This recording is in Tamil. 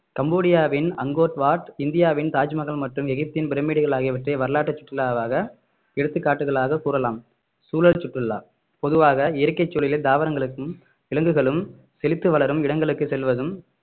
கம்போடியாவின் அங்கோர்வாட் இந்தியாவின் தாஜ்மஹால் மற்றும் எகிப்தின் பிரமிடுகள் ஆகியவற்றை வரலாற்று சுற்றுலாவாக எடுத்துக்காட்டுகளாக கூறலாம் சூழல் சுற்றுலா பொதுவாக இயற்கை சூழலில் தாவரங்களுக்கும் விலங்குகளும் செழித்து வளரும் இடங்களுக்கு செல்வதும்